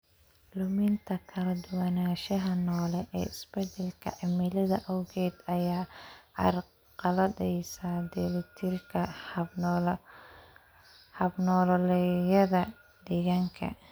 Luminta kala duwanaanshaha noole ee isbeddelka cimilada awgeed ayaa carqaladaysa dheelitirka hab-nololeedyada deegaanka.